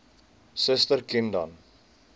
suster ken dan